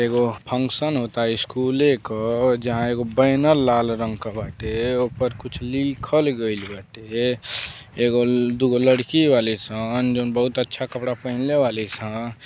एगो फंक्शन होता स्कूले के जहाँ एगो बैनर लाल रंग का बाटे ऊपर कुछ लिखल गईल बाटे। एगो ल- दो लड़की बाड़ी सन जौन बहुत अच्छा कपड़ा पहनले बाड़ी सन।